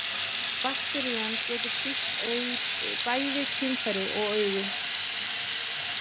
bakterían getur sýkt bæði kynfæri og augu